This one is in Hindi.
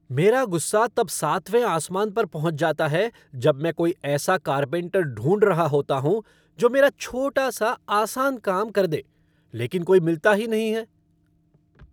मेरा गुस्सा तब सातवें आसमान पर पहुंच जाता है, जब मैं कोई ऐसा कारपेंटर ढूंढ रहा होता हूँ, जो मेरा छोटा सा आसान काम कर दे, लेकिन कोई मिलता ही नहीं है।